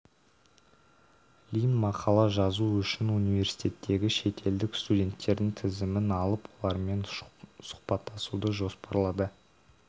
лимн мақала жазу үшін университеттегі шетелдік студенттердің тізімін алып олармен сұхбаттасуды жоспарлады